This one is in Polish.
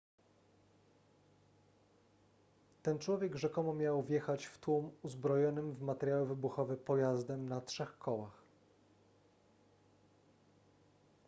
ten człowiek rzekomo miał wjechać w tłum uzbrojonym w materiały wybuchowe pojazdem na trzech kołach